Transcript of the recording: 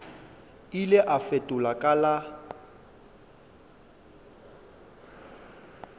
ile a fetola ka la